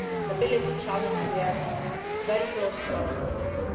security and stability challenge we have very close to